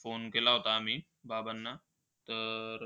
Phone केला होता आम्ही बाबांना. तर